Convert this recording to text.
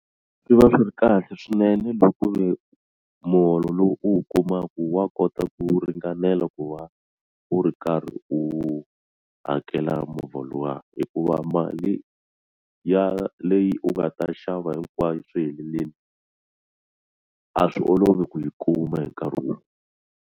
Swi va swi ri kahle swinene loko ku ve muholo lowu u wu kumaka wa kota ku ringanela ku va u ri karhi u hakela movha luwa hikuva mali ya leyi u nga ta xava hinkwayo swi helelini a swi olovi ku yi kuma hi nkarhi wun'we.